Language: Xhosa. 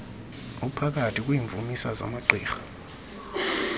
uphakathi kwiimvumisa zamagqirha